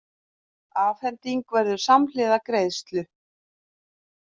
Afhending verður samhliða greiðslu